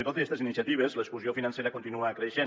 i tot i estes iniciatives l’exclusió financera continua creixent